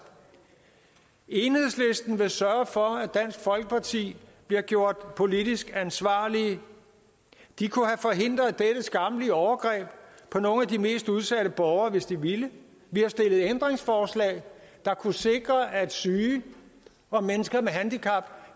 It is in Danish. enhedslisten vil sørge for at dansk folkeparti bliver gjort politisk ansvarlige de kunne have forhindret dette skammelige overgreb på nogle af de mest udsatte borgere hvis de ville vi har stillet ændringsforslag der kunne sikre at syge og mennesker med handicap